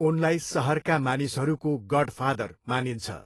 उनलाई सहरका मानिसहरूको गडफादर मानिन्छ।